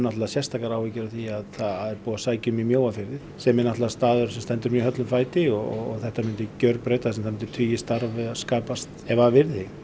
sérstaka áhyggjur því það er búið að sækja um í Mjóafirði sem er staður sem stendur mjög höllum fæti og það myndi gjörbreytast og tugir starfa skapast ef af yrði